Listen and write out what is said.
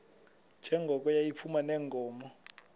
njengoko yayiphuma neenkomo